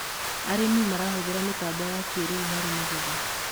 arĩmi marahuthira mitambo ya kĩiriu harĩ magetha